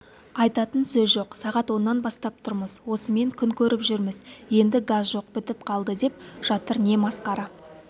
айтатын сөз жоқ сағат оннан бастап тұрмыз осыменен күн көріп жүрміз енді газ жоқ бітіп қалды деп жатыр не масқара